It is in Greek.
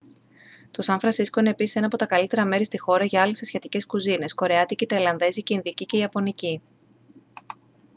το σαν φρανσίσκο είναι επίσης ένα από τα καλύτερα μέρη στη χώρα για άλλες ασιατικές κουζίνες κορεάτικη ταϊλανδέζικη ινδική και ιαπωνική